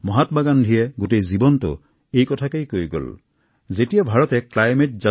মহাত্মা গান্ধীয়ে তেওঁৰ জীৱনৰ প্ৰতিটো খোজতে এই নীতি পালন কৰি চলিছিল